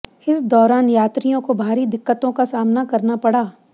इस दौरान यात्रियों को भारी दिक्कतों का सामना करना पड़ा